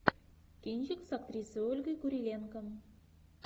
кинчик с актрисой ольгой куриленко